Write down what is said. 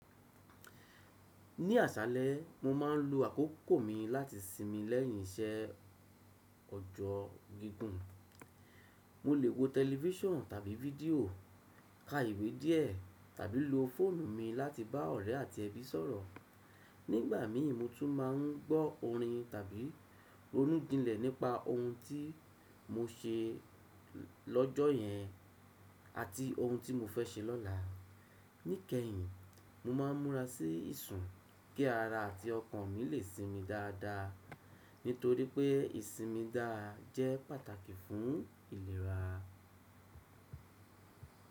Ní àṣálẹ́, mo máa ń lo àkókò mi láti sinmi lẹ́yìn isẹ ọjọ́ gígùn. Mo lè wo tẹlifíṣàn tàbí fídíò, ka ìwé díè tàbí lo fóònù mi láti bá ọ̀rẹ́ àti ẹbí sọ̀rọ̀. Nígbà mi, mo tún ma ń gbọ́ orin tàbí ronú jínlẹ̀ nípa ohun tí mo ṣe lọ́jọ́ yẹn àti ohun tí mo fẹ́ ṣe lọ́la. Níkẹyìn, mo máa ń múra sí ìsun kí ara àti ọkàn mi lè sinmi dáadáa, nítorí pé ìsinmi dáà jẹ́ pàtàkì fún ìlera.